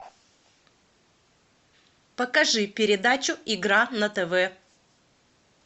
покажи передачу игра на тв